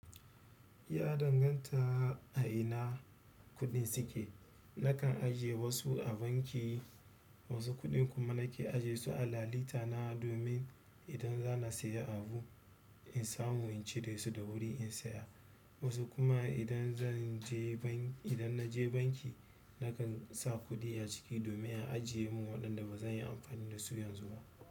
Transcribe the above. Ya danganta a ina kuɗin suke. Nakan ajiye wasu a banki, wasu kuɗi kuma nake ajiye su a lalita na domin idan zana siya abu, in samu in cire su da wuri in siya. Wasu kuma idan zan je ban, idan na je banki nakan sa kuɗi a ciki domin in a ajiye mun waɗanda ba zan yi amfani da su yanzu ba.